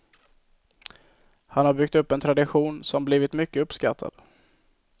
Han har byggt upp en tradition som blivit mycket uppskattad.